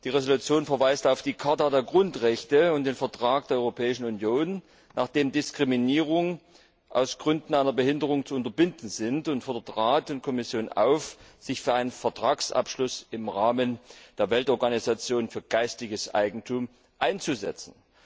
Die Entschließung verweist auf die Charta der Grundrechte und den Vertrag der Europäischen Union, nach dem Diskriminierungen aus Gründen einer Behinderung zu unterbinden sind, und fordert Rat und Kommission auf, sich für einen Vertragsabschluss im Rahmen der Weltorganisation für geistiges Eigentum einzusetzen.